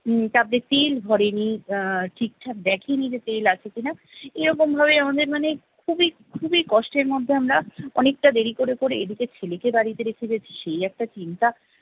উম তাতে তেল ভরেনি, আহ ঠিকঠাক দেখেনি যে তেল আছে কি না। এরকম ভাবেই আমাদের মানে খুবই খুবই কষ্টের মধ্যে আমরা অনেকটা দেরি করে করে এদিকে ছেলেকে বাড়িতে রেখে গেছি, সেই একটা চিন্তা।